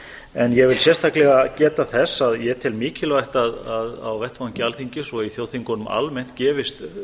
en ég vil sérstaklega geta þess að ég tel mikilvægt á vettvangi alþingis og í þjóðþingunum almennt gefist